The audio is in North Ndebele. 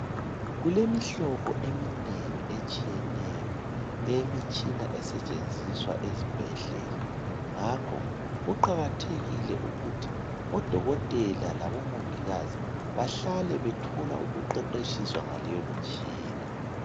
Kulemihlobo eminengi etshiyeneyo eyemitshina esetshenziswa ezibhedlela ngakho kuqakathekile ukuthi odokotela labo mongikazi bahlale bethola ukuqeqetshiswa ngaleyo ntshina.